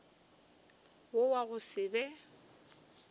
wo wa go se be